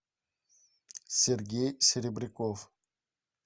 сергей серебряков